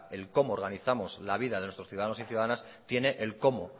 el cómo organizamos la vida de nuestros ciudadanos y ciudadanas tiene el cómo